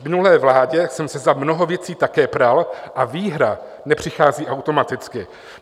V minulé vládě jsem se za mnoho věcí také pral a výhra nepřichází automaticky.